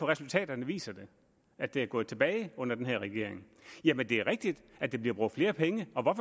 resultaterne viser at det er gået tilbage under den her regering det er rigtigt at der bliver brugt flere penge og